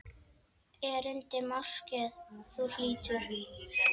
Erindi máske þú hlýtur.